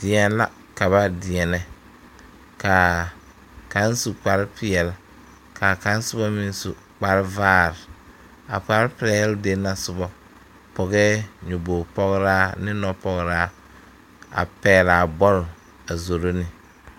Deɛn la ka ba deɛnɛ la kaŋ su kpare peɛl kaa kaŋ soba meŋ su kpare vaare a kpare peɛl den na soba pɔgɛɛ nyaboge pɔgraa ne nɔpɔgraa a pɛg laa bɔl a zoro ne.